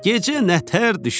Gecə nətər düşür?